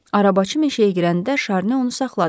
Arabacı meşəyə girəndə Şarni onu saxladı.